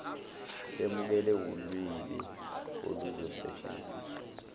lemukele ulirni oluzosetshenziswa